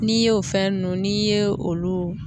N'i y'o fɛn ninnu n'i ye olu